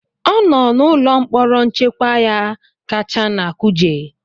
ọ nọ n'ụlọ mkpọrọ nchekwa ya kacha na Kuje